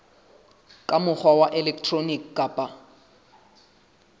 ka mokgwa wa elektroniki kapa